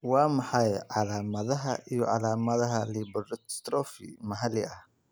Waa maxay calaamadaha iyo calaamadaha lipodystrophy maxalli ah?